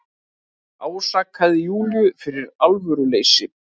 Ásakaði Júlíu fyrir alvöruleysi.